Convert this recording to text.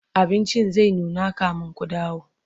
abincin zai nuna kamin Ku dawo